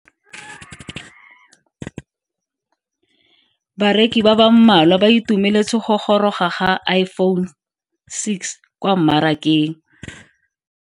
Bareki ba ba malwa ba ituemeletse go goroga ga Iphone6 kwa mmarakeng.